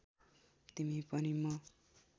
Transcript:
तिमी पनि म